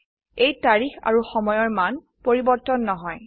এই তাৰিখ আৰু সময়ৰ মান পৰিবৰ্তন নহয়